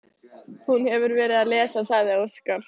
Hún hefur verið að lesa, sagði Óskar.